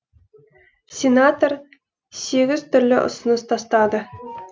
сенатор сегіз түрлі ұсыныс тастады